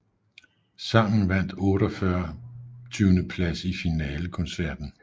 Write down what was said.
Sangen vandt 48 plads i finalen koncerten